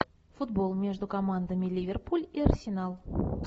футбол между командами ливерпуль и арсенал